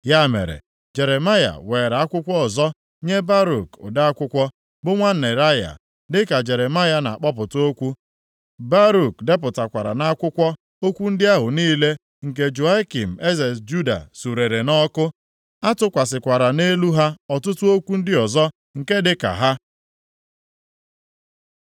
Ya mere, Jeremaya weere akwụkwọ ọzọ nye Baruk ode akwụkwọ, bụ nwa Neraya, dịka Jeremaya na-akpọpụta okwu, Baruk depụtakwara nʼakwụkwọ okwu ndị ahụ niile, nke Jehoiakim eze Juda surere nʼọkụ. A tụkwasịkwara nʼelu ha ọtụtụ okwu ndị ọzọ nke dịka ha.